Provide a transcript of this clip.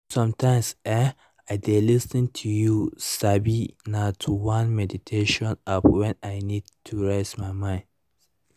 sometimes[um]i dey lis ten you sabi na to one meditation app when i need to reset my mind